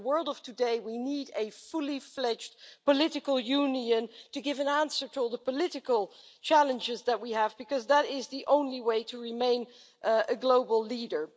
In the world of today, we need a fully fledged political union to give an answer to all the political challenges that we have, because that is the only way to remain a global leader.